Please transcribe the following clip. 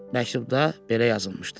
Məktubda belə yazılmışdı: